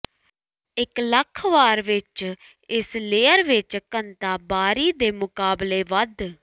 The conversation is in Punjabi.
ਇੱਕ ਲੱਖ ਵਾਰ ਵਿਚ ਇਸ ਲੇਅਰ ਵਿੱਚ ਘਣਤਾ ਬਾਹਰੀ ਦੇ ਮੁਕਾਬਲੇ ਵੱਧ